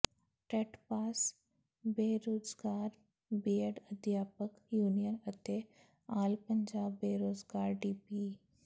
TET pass ਬੇਰੁਜ਼ਗਾਰ B Ed ਅਧਿਆਪਕ union ਅਤੇ ਆਲ ਪੰਜਾਬ ਬੇਰੁਜ਼ਗਾਰ ਡੀਪੀਈ